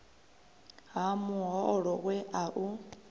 ha muholo we a u